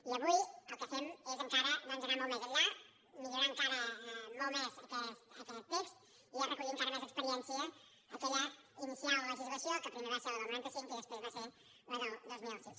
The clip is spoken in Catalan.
i avui el que fem és encara doncs anar molt més enllà millorar encara molt més aquest text i ja recollir encara més experiència aquella inicial legislació que primer va ser la del noranta cinc i després va ser la del dos mil sis